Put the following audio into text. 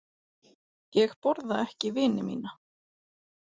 Ég borða ekki vini mína.